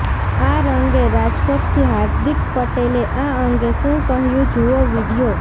આ અંગે રાજકોટથી હાર્દિક પટેલે આ અંગે શું કહ્યું જુઓ વીડિયો